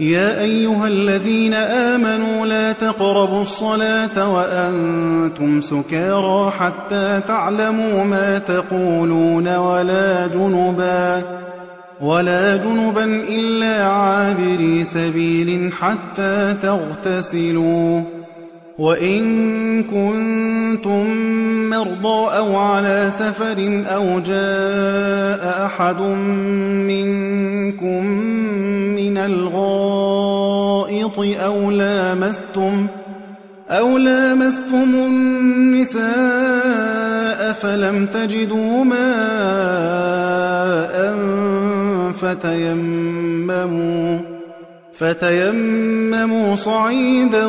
يَا أَيُّهَا الَّذِينَ آمَنُوا لَا تَقْرَبُوا الصَّلَاةَ وَأَنتُمْ سُكَارَىٰ حَتَّىٰ تَعْلَمُوا مَا تَقُولُونَ وَلَا جُنُبًا إِلَّا عَابِرِي سَبِيلٍ حَتَّىٰ تَغْتَسِلُوا ۚ وَإِن كُنتُم مَّرْضَىٰ أَوْ عَلَىٰ سَفَرٍ أَوْ جَاءَ أَحَدٌ مِّنكُم مِّنَ الْغَائِطِ أَوْ لَامَسْتُمُ النِّسَاءَ فَلَمْ تَجِدُوا مَاءً فَتَيَمَّمُوا صَعِيدًا